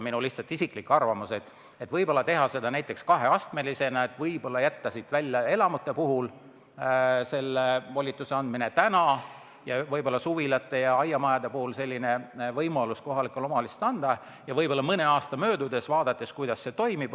Minu isiklik arvamus on, et võib-olla teha seda kaheastmelisena: võib-olla jätta esialgu selle pädevuse andmine elamute puhul ära ja piirduda suvilate, aiamajade ja muude selliste hoonetega ning vaadata mõne aasta jooksul, kuidas see toimib.